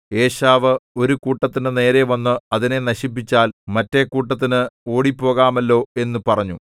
ഏശാവ് ഒരു കൂട്ടത്തിന്റെ നേരെ വന്ന് അതിനെ നശിപ്പിച്ചാൽ മറ്റെ കൂട്ടത്തിന് ഓടിപ്പോകാമല്ലോ എന്നു പറഞ്ഞു